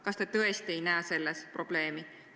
Kas te tõesti ei näe selles probleemi?